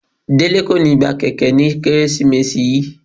Dele ko ni gba kẹkẹ ni Keresimesi yii.